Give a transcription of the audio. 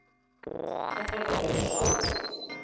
Það þarf að vera sól.